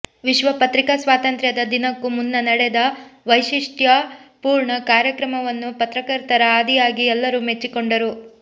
ವಿಶ್ವ ಪತ್ರಿಕಾ ಸ್ವಾತಂತ್ರ್ಯದ ದಿನಕ್ಕೂ ಮುನ್ನ ನಡೆದ ವೈಶಿಷ್ಟ್ಯಪೂರ್ಣ ಕಾರ್ಯಕ್ರಮವನ್ನು ಪತ್ರಕರ್ತರ ಆದಿಯಾಗಿ ಎಲ್ಲರೂ ಮೆಚ್ಚಿಕೊಂಡರು